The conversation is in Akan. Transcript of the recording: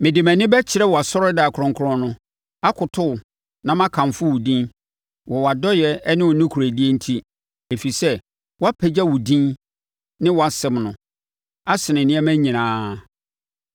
Mede mʼani bɛkyerɛ wʼasɔredan kronkron no, akoto wo na makamfo wo din wɔ wʼadɔeɛ ne wo nokorɛdie enti ɛfiri sɛ wɔapagya wo din ne wʼasɛm no asene nneɛma nyinaa.